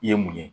I ye mun ye